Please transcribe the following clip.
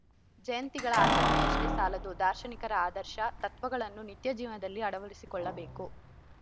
ಜಯಂತಿಗಳ ಆಚರಣೆಯಷ್ಟೇ ಸಾಲದು ದಾರ್ಶನಿಕರ ಆದರ್ಶ ತತ್ವಗಳನ್ನು ನಿತ್ಯಜೀವನದಲ್ಲಿ ಅಳವಡಿಸಿಕೊಳ್ಳಬೇಕು